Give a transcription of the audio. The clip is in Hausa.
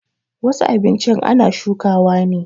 Wasu abinchin ana shukawa ne